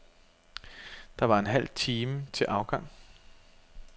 Der var en halv time til afgang.